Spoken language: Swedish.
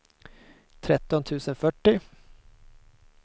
tretton tusen fyrtio